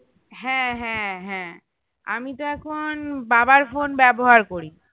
হ্যাঁ হ্যাঁ হ্যাঁ আমিতো এখন বাবার phone ব্যবহার করি